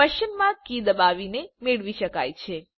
પ્રશ્ન ચિહ્ન કી દબાવીને મેળવી શકાય છે